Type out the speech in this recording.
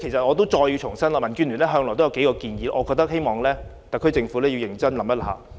我要再次重申民建聯向來提出的數項建議，希望特區政府能認真考慮。